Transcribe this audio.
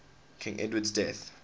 king edward's death